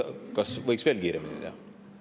Kas võiks veel kiiremini teha?